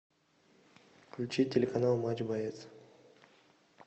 включи телеканал матч боец